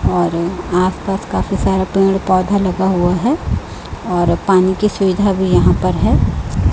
और आस पास काफी सारे पेड़ पौधा लगा हुआ है और पानी की सुविधा भी यहां पर है।